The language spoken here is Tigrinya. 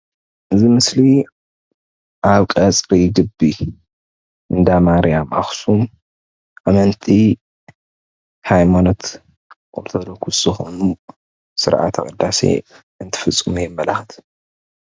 እዚ ምስሊ ኣብ ቀፅሪ ግቢ እንዳ ማርያም ኣኹሱም ኣመንቲ ሃይማኖት ኦርቶዶክስ ዝኾኑ ስርዓተ ቕዳሴ እንትፍፅሙ የመላኽት።